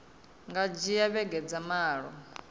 nga dzhia vhege dza malo